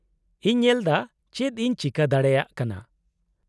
-ᱤᱧ ᱧᱮᱞᱮᱫᱟ ᱪᱮᱫ ᱤᱧ ᱪᱤᱠᱟᱹ ᱫᱟᱲᱮᱭᱟᱜ ᱠᱟᱱᱟ ᱾